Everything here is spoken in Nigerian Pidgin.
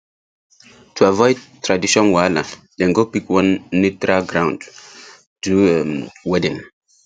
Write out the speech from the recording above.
to avoid tradition wahala dem go pick one neutral ground do um wedding